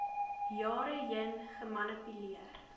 jare heen gemanipuleer